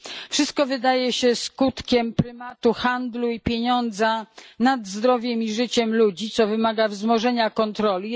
Wszystko wydaje się skutkiem prymatu handlu i pieniądza nad zdrowiem i życiem ludzi, co wymaga wzmożenia kontroli.